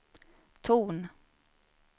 ton